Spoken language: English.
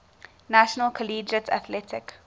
national collegiate athletic